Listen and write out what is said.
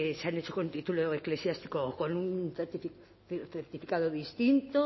han hecho con título eclesiástico o con un certificado distinto